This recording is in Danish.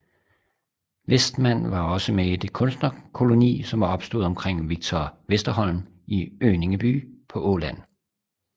Westman var også med i den kunstnerkoloni som var opstået omkring Victor Westerholm i Önningeby på Åland